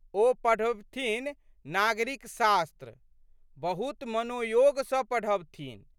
ओ पढ़बथिन नागरिक शास्त्र। बहुत मनोयोग सँ पढ़बथिन।